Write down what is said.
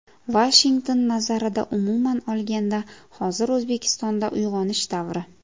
Vashington nazarida umuman olganda, hozir O‘zbekistonda uyg‘onish davri.